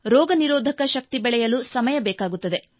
ರೋಗನಿರೋಧಕ ಶಕ್ತಿ ಬೆಳೆಯಲು ಸಮಯ ಬೇಕಾಗುತ್ತದೆ